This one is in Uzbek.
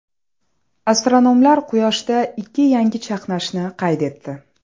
Astronomlar Quyoshda ikki yangi chaqnashni qayd etdi.